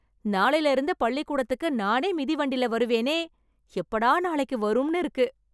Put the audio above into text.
நாளைல இருந்து பள்ளிக்கூடத்துக்கு நானே மிதிவண்டில வருவேனே. எப்படா நாளைக்கு வரும்னு இருக்கு.